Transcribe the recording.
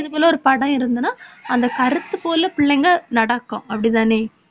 போல ஒரு படம் இருந்ததுன்னா அந்த கருத்து போல பிள்ளைங்க நடக்கும் அப்படிதானே